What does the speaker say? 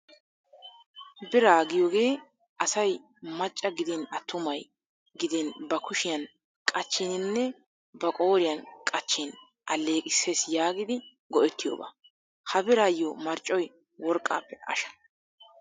Biraa giyogee asay macca gidin attumay gidin ba kushiyan qachchiininne ba qooriyan qachchin alleeqisses yaagidi go'ettiyooba. Ha biraayo marccoy worqqaappe asha.